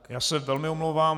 Já se velmi omlouvám.